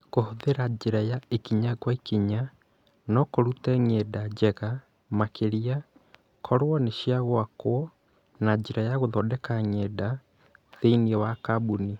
Kũhũthĩra njĩra ya ikinya kwa ikinya, no kũrute ng’enda njega makĩria korũo nĩ cia gwakwo na njĩra ya gũthondeka ng’enda thĩinĩ wa kambuni